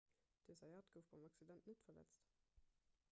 den zayat gouf beim accident net verletzt